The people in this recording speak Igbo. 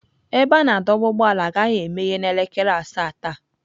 Ebe a na-adọba ụgbọala agaghị emeghe n'elekere asaa taa.